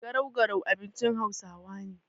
Garau-garau abinci hausawa ne.